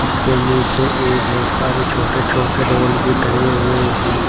इसके नीचे ये बहोत सारे छोटे छोटे डॉल भी टंगे हुए हैं।